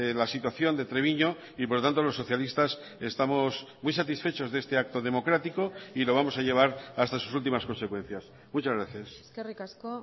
la situación de treviño y por lo tanto los socialistas estamos muy satisfechos de este acto democrático y lo vamos a llevar hasta sus últimas consecuencias muchas gracias eskerrik asko